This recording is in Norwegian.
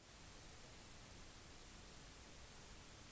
besøkende med begrenset tid vil nok foretrekke å bruke